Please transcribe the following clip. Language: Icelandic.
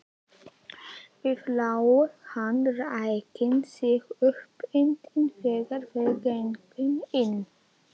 Við lá hann ræki sig uppundir þegar þeir gengu inn.